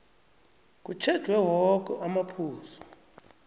kutjhejwe woke amaphuzu